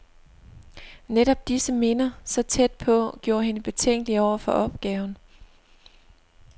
Netop disse minder, så tæt på, gjorde hende betænkelig over for opgaven.